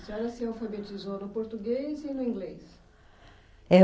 A senhora se alfabetizou no português e no inglês? É